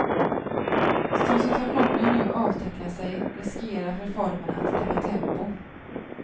Som situationen nu avtecknar sig riskerar reformerna att tappa tempo.